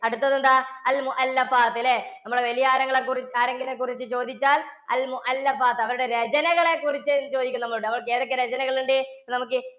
അടുത്തത് എന്താ? അല്ലേ? നമ്മുടെ നിങ്ങളെക്കുറിച്ചു ചോദിച്ചാൽ അവരുടെ രചനകളെ കുറിച്ച് ചോദിക്കും നമ്മളോട്. ഏതൊക്കെ രചനകളുണ്ട് നമുക്ക്?